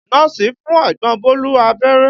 Nọ́ọ̀sì fún ẹ̀gbọ́n Bólú abẹ́rẹ́